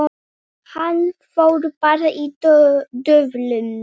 Hann fór bara í döðlur!